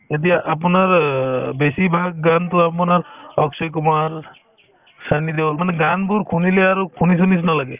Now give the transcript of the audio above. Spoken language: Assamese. এতিয়া আপোনাৰ অ বেছিভাগ গানতো আপোনাৰ অক্ষয় কুমাৰ, ছানি দেওল মানে গানবোৰ শুনিলে আৰু শুনিছোৰ নিচিনা লাগে